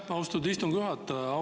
Aitäh, austatud istungi juhataja!